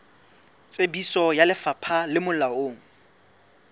tsebiso ya lefapha le molaong